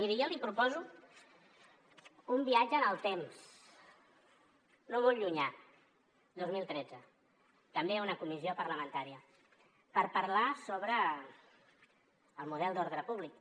miri jo li proposo un viatge en el temps no molt llunyà dos mil tretze també una comissió parlamentària per parlar sobre el model d’ordre públic